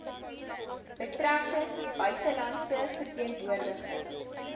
betrekkinge buitelandse verteenwoordiging